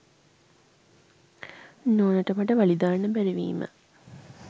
නෝනට මට වලි දාන්න බැරි වීම